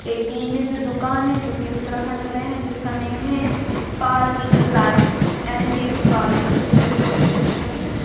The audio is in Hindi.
देखिए ये जो दुकान है जो की उत्तराखंड में है जिसका नेम है पार्लर एन.जे.बी. पार्लर और ये देखो आपको दिख रहा है।